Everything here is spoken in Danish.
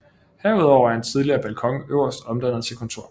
Herudover er en tidligere balkon øverst omdannet til kontor